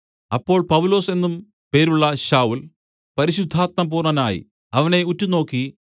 അപ്പോൾ പൗലൊസ് എന്നും പേരുള്ള ശൌല്‍ പരിശുദ്ധാത്മപൂർണ്ണനായി അവനെ ഉറ്റുനോക്കി